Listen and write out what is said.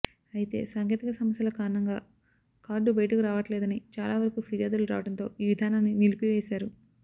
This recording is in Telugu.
అయితే సాంకేతిక సమస్యల కారణంగా కార్డు బయటకు రావట్లేదని చాలా వరకు ఫిర్యాదులు రావడంతో ఈ విధానాన్ని నిలిపివేసారు